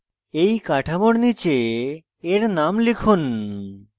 এই কাঠামোর নীচে এর name লিখুন